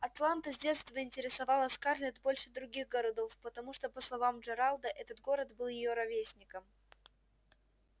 атланта с детства интересовала скарлетт больше других городов потому что по словам джералда этот город был её ровесником